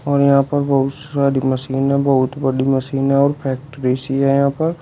और यहां पर बहुत सारी मशीन है बहुत बड़ी मशीन है और फैक्ट्री सी है यहां पर।